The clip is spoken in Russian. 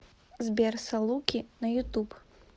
сбер салуки на ютуб